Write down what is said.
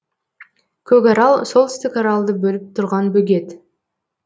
көкарал солтүстік аралды бөліп тұрған бөгет